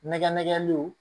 Nɛgɛ nɛgɛlenw